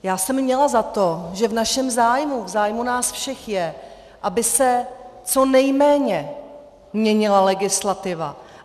Já jsem měla za to, že v našem zájmu, v zájmu nás všech je, aby se co nejméně měnila legislativa.